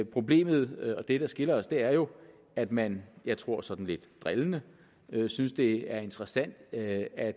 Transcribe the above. problemet og det der skiller os er jo at man jeg tror sådan lidt drillende synes det er interessant at at